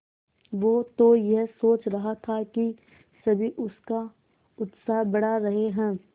वो तो यह सोच रहा था कि सभी उसका उत्साह बढ़ा रहे हैं